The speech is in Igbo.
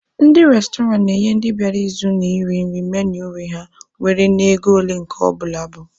Ndị restọrantị na-enye ndị bịara ịzụ na iri nri menui nri ha nwere na ego ole nke ọbụla bụ.